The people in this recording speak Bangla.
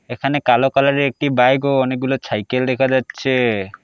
এখানে কালো কালারের একটি বাইক ও অনেকগুলো ছাইকেল দেখা যাচ্ছে।